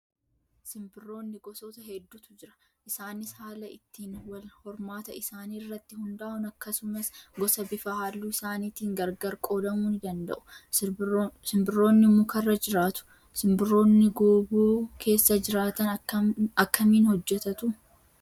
Simbirroonni gosoota hedduutu jira. Isaanis haala ittiin wal hormaata isaanii irratti hundaa'uun akkasumas gosa bifa halluu isaaniitiin gargar qoodamuu ni danda'u. Simbirroonni mukarra jiraatu. Simbirroonni gooboo keessa jiraatan akkamiin hojjatatuu?